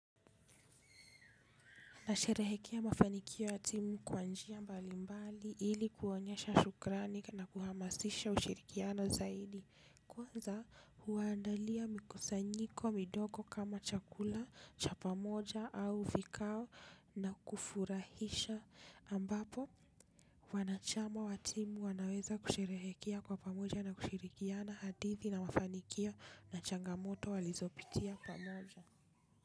Nasherehekea mafanikio ya timu kwa njia mbalimbali ili kuonyesha shukrani na kuhamasisha ushirikiano zaidi. Kwanza huandalia mikusanyiko midogo kama chakula cha pamoja au vikao na kufurahisha ambapo wanachama wa timu wanaweza kusherehekea kwa pamoja na kushirikiana hadithi na mafanikio na changamoto walizopitia pamoja.